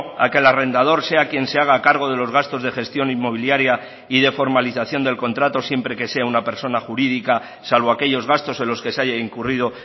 a que el arrendador sea quien se haga cargo de los gastos de gestión inmobiliaria y de formalización del contrato siempre que sea una persona jurídica salvo aquellos gastos en los que se haya incurrido